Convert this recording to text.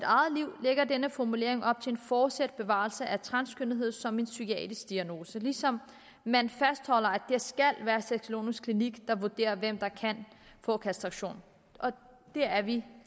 eget liv lægger denne formulering op til en fortsat bevarelse af transkønnethed som en psykiatrisk diagnose ligesom man fastholder at være sexologisk klinik der vurderer hvem der kan få kastration og det er vi